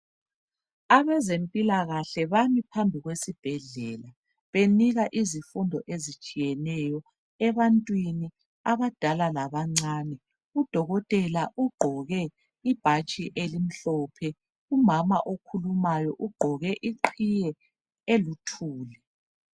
Abezempilakahle bami phambi kwesibhedlela benika izifundo ezitshiyeneyo ebantwini abadala labancane, udokotela ugqoke ibhatshi elimhlophe umama okhulumayo ugqoke iqhiye eluthuli.